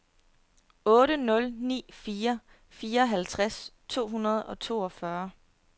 otte nul ni fire fireoghalvtreds to hundrede og toogfyrre